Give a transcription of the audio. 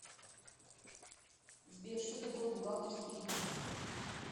сбер что такое бухгалтерский регистр